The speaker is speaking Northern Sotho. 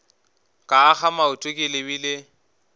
ka akga maoto ke lebile